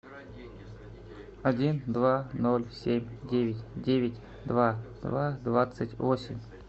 один два ноль семь девять девять два два двадцать восемь